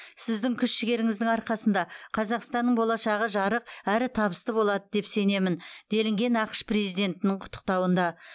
сіздің күш жігеріңіздің арқасында қазақстанның болашағы жарық әрі табысты болады деп сенемін делінген ақш президентінің құттықтауында